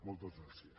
moltes gràcies